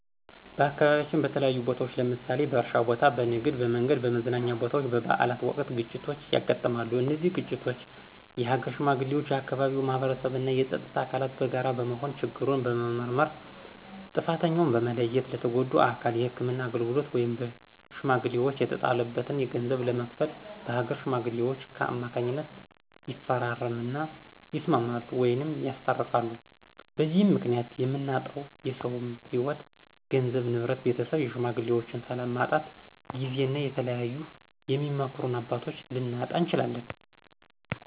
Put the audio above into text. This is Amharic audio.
በአካባቢያችን በተለያዩ ቦታዎች ለምሳሌ በእርሻ ቦታ፣ በንግድ፣ በመንገድ፣ በመዝናኛ ቦታወች፣ በበአላት ወቅት ግጭቶች ያጋጥማሉ። እነዚህን ግጭቶች የሀገር ሽማግሌዎች፣ የአካባቢው ማህበረሰብ እና የፀጥታ አካላት በጋራ በመሆን ችግሩን በመመርመር ጥፍተኛውን በመለየት ለተጎጁ አካል የህክምና አገልግሎት ወይም በሽሜግሌወች የተጣለበትን ገንዘብ በመክፈል በአገር ሽማግሌወች ከማካኝነት ይፈራረም እና ይስማማሉ ወይም ያስታርቃሉ። በዚህም ምክኒያት የምናጣው የሰውም ህይዎት ገንዘብ፣ ንብረት፣ ቤተሰብን የሽማግሌዎችን፣ ሰላምን ማጣት ጊዜን እና የተለያዩ የሚመክሩን አባቶች ልናጣ እንችላለን።